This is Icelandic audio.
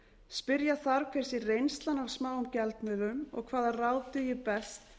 spyrja þarf hver sé reynslan af smáum gjaldmiðlum og hvaða ráð dugi best